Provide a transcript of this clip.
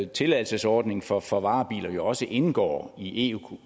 tilladelsesordningen for for varebiler jo også indgår i europa